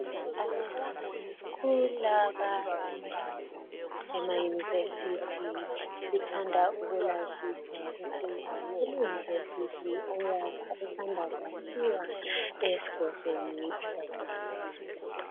Kulabo abafunda emayunivesithi ngithanda ukulazisa ukuthi kuleyunivesithi esanda kwakhiwa esigodlweni ezaba lusizo.